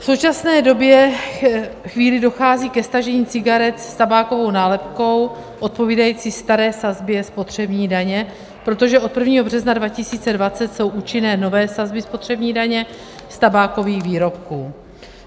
V současné době chvíli dochází ke stažení cigaret s tabákovou nálepkou odpovídající staré sazbě spotřební daně, protože od 1. března 2020 jsou účinné nové sazby spotřební daně z tabákových výrobků.